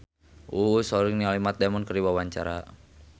Uus olohok ningali Matt Damon keur diwawancara